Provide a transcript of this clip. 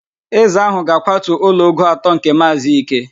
Eze ahụ ga-akwatu ụlọ ogo atọ nke Maazị Ike